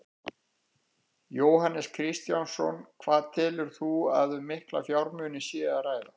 Jóhannes Kristjánsson: Hvað telur þú að um mikla fjármuni sé að ræða?